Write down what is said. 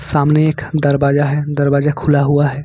सामने एक दरवाजा है दरवाजा खुला हुआ है।